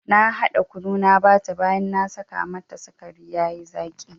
Na hada kunu na bata baya na saka masa sikari yayi zaki.